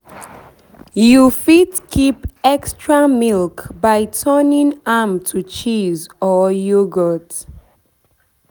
You fit keep extra milk by turning am to cheese or yoghourt